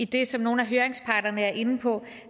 det som nogle af høringsparterne er inde på